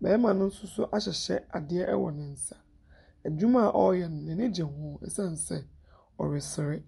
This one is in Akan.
Barima no nso so ahehyɛ ade wɔ ne nsa. Adwuma a ɔreyɛ no, n'ani gye ho esiane sɛ ɔresere.